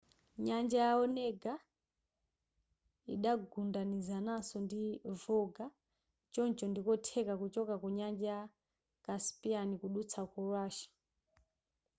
nyanja ya onega idagundanizananso ndi volga choncho ndikotheka kuchoka ku nyanja ya caspian kudutsa ku russia